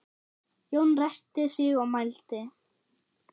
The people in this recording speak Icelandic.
Jón ræskti sig og mælti